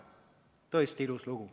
Tõesti ilus lugu.